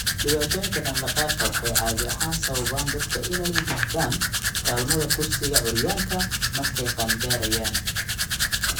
Dhibaatooyinka dhaqdhaqaaqa waxay caadi ahaan sababaan dadka inay u baahdaan kaalmada kursiga curyaanka markay qaan-gaarayaan.